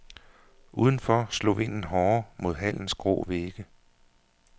Udenfor slog vinden hårdere mod hallens grå vægge.